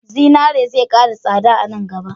Zinare zai ƙara tsada a nan gaba.